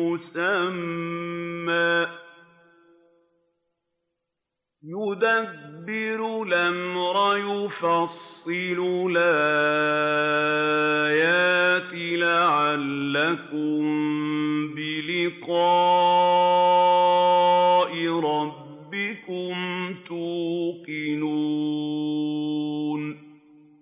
مُّسَمًّى ۚ يُدَبِّرُ الْأَمْرَ يُفَصِّلُ الْآيَاتِ لَعَلَّكُم بِلِقَاءِ رَبِّكُمْ تُوقِنُونَ